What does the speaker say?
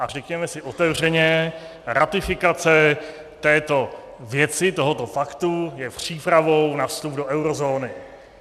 A řekněme si otevřeně, ratifikace této věci, tohoto faktu je přípravou na vstup do eurozóny.